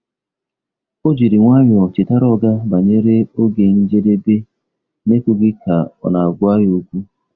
Ọ jiri nwayọọ chetara oga banyere oge njedebe n’ekwughị ka ọ na-agwa ya okwu.